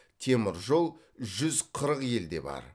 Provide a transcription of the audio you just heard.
темір жол жүз қырық елде бар